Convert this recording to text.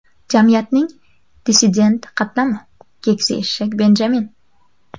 Jamiyatning dissident qatlami – keksa eshak Benjamin.